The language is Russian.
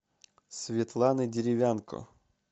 светланы деревянко